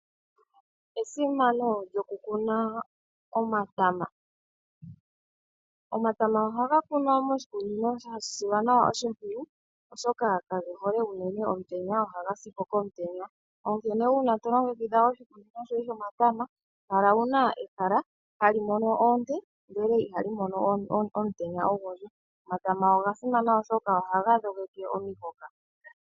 Esimano lyokukuna omatama. Omatama ohaga kunwa moshikunino sha silwa nawa oshimpwiyu, oshoka kage hole unene omutenya, ohaga si po komutenya. Onkene uuna to longekidha oshikunino shoye shomatama kala wuna ehala hali mono oonte ihe iha li mono omutenya ogundji. Omatama oga simana oshoka ohaga dhogeke omihoka.